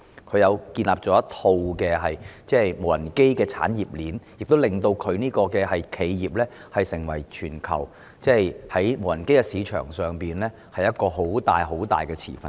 他建立了一套無人機產業鏈，令其企業成為全球無人機市場上巨大的持份者。